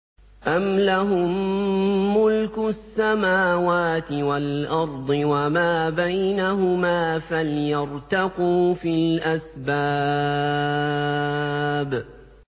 أَمْ لَهُم مُّلْكُ السَّمَاوَاتِ وَالْأَرْضِ وَمَا بَيْنَهُمَا ۖ فَلْيَرْتَقُوا فِي الْأَسْبَابِ